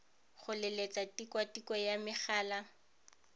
go leletsa tikwatikwe ya megala